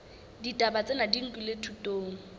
ditaba tsena di nkilwe thutong